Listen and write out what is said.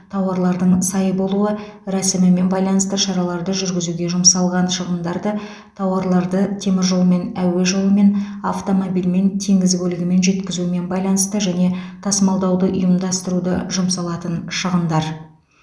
тауарларлың сай болуы рәсімімен байланысты шараларды жүргізуге жұмсалған шығындарды тауарларды теміржолмен әуе жолымен автомобильмен теңіз көлігімен жеткізумен байланысты және тасымалдауды ұйымдастыруды жұмсалатын шығындар